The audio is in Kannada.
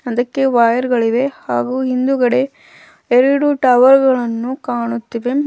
ಹಿಂದಕ್ಕೆ ವಾಯರ್ ಗಳಿವೆ ಹಾಗು ಹಿಂದುಗಡೆ ಎರಡು ಟವರ್ ಗಳನ್ನು ಕಾಣುತ್ತಿವೆ.